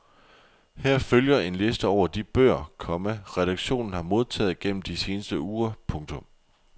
Her følger en liste over de bøger, komma redaktionen har modtaget gennem de seneste uger. punktum